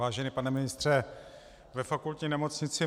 Vážený pane ministře, ve Fakultní nemocnici